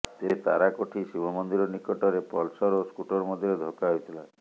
ତେବେ ତାରାକୋଠି ଶିବ ମନ୍ଦିର ନିକଟରେ ପଲସର ଓ ସ୍କୁଟର ମଧ୍ୟରେ ଧକ୍କା ହୋଇଥିଲା